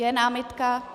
Je námitka?